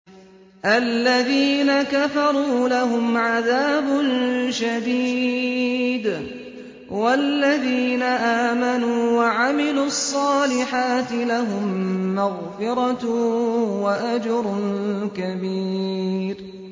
الَّذِينَ كَفَرُوا لَهُمْ عَذَابٌ شَدِيدٌ ۖ وَالَّذِينَ آمَنُوا وَعَمِلُوا الصَّالِحَاتِ لَهُم مَّغْفِرَةٌ وَأَجْرٌ كَبِيرٌ